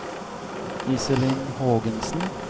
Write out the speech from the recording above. Iselin Hågensen